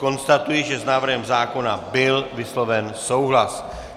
Konstatuji, že s návrhem zákona byl vysloven souhlas.